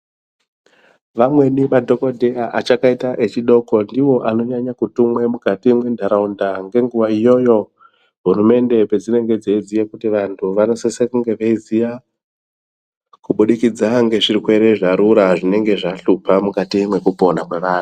Vamweni madhokodheya achakaita echidoko ndiwo anonyanya kutumwe mukati mwendaraunda ngenguwa iyoyo hurumende pedzinenge dzeiziya kuti vantu vanosise kunge veiziya kubudikidza ngezvirwere zvarura zvinge zvahlupa mukati mwekupona kwevanhu.